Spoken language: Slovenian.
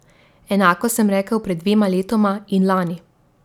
Enako sem rekel pred dvema letoma in lani.